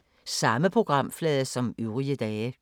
Samme programflade som øvrige dage